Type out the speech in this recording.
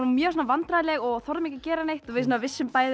mjög vandræðaleg og þorðum ekki að gera neitt við vissum bæði